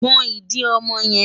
Gbọn ìdí ọmọ yẹn!